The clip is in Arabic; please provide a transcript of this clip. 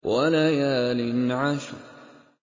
وَلَيَالٍ عَشْرٍ